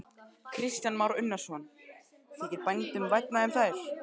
Kristján Már Unnarsson: Þykir bændum vænna um þær?